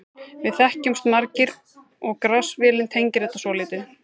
Við þekkjumst margir og Grass-vélin tengir þetta svolítið.